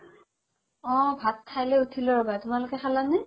অ ভাত খাই লই উথিলো ৰবা তোমালোকে খালা নে?